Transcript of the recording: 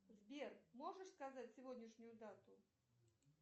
сбер можешь сказать сегодняшнюю дату